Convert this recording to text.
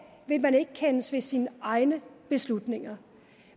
vil man så ikke kendes ved sine egne beslutninger